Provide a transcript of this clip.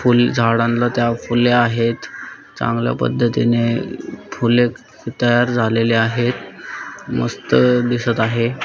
फुल झाडांला त्या फुले आहेत. चांगल्या पद्धतीने फुले तयार झालेले आहेत मस्त दिसत आहे.